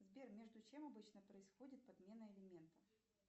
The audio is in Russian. сбер между чем обычно происходит подмена элементов